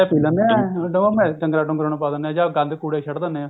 ਉਹ ਰਸਾਂ ਜਾ ਪੀ ਲੇਂਦੇ ਐ ਬਾਕੀ ਡੰਗਰਾ ਡੂੰਗਰਾ ਨੂੰ ਪਾ ਦਿਨੇ ਆ ਜਾ ਗੰਦ ਗੁੰਦ ਚ ਸਿੱਟ ਦੇਣੇ ਆ